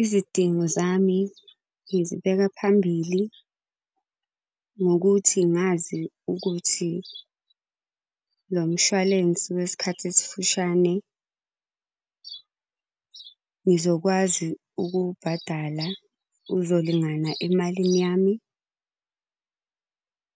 Izidingo zami ngizibeka phambili, ngokuthi ngazi ukuthi lo mshwalense wesikhathi esifushane ngizokwazi ukuwubhadala uzolingana emalini yami.